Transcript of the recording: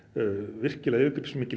virkilega yfirgripsmikil